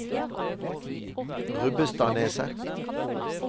Rubbestadneset